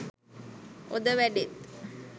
ඔද වැඩෙත්.